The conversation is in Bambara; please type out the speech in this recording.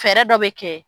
Fɛɛrɛ dɔ bɛ kɛ